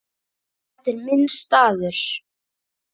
Þetta er minn staður.